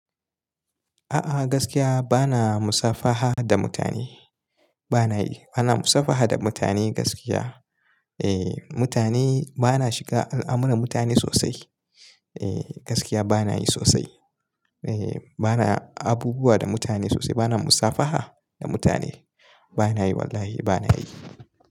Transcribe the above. A'a gaskiya bana musafaha da mutane. Bana yi. Bana musafaha da mutane gaskiya. Eh mutane bana shiga al'amuran mutane sosai. Eh gaskiya bana yi sosai. Eh bana abubuwa da mutane sosai. Bana musafaha da mutane. Bana yi wallahi bana yi.